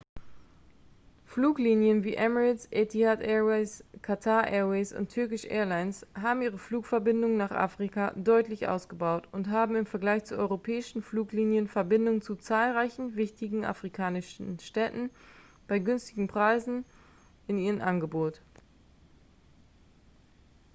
fluglinien wie emirates etihad airways qatar airways und turkish airlines haben ihre flugverbindungen nach afrika deutlich ausgebaut und haben im vergleich zu europäischen fluglinien verbindungen zu zahlreichen wichtigen afrikanischen städten bei günstigen preisen in ihrem angebot